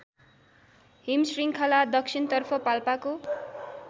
हिमशृङ्खला दक्षिणतर्फ पाल्पाको